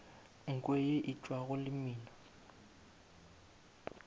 nko ye e tšwago lemina